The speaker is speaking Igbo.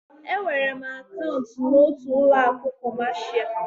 Enwere m akaụntụ n'otu ụlọ akụ kọmasia.